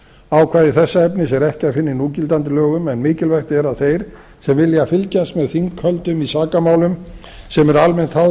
ákvæði þessa efnis er ekki að finna í núgildandi lögum en mikilvægt er að þeir sem vilja fylgjast með þinghöldum í sakamálum sem eru almennt háð í